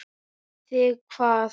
Þig hvað?